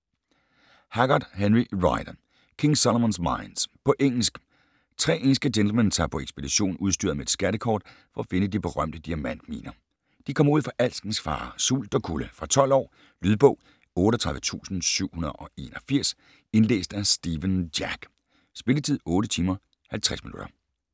Haggard, Henry Rider: King Solomon's mines På engelsk. Tre engelske gentlemen tager på ekspedition udstyret med et skattekort for at finde de berømte diamantminer. De kommer ud for alskens farer, sult og kulde. Fra 12 år. Lydbog 38781 Indlæst af Stephen Jack. Spilletid: 8 timer, 50 minutter.